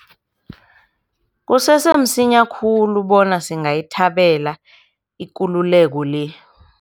Kusese msinya khulu bona singayithabela ikululeko le.